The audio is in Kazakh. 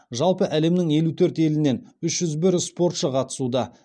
жалпы әлемнің елу төрт елінен үш жүз бір спортшы қатысуда